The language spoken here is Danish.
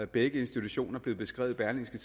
begge institutioner blev beskrevet i berlingske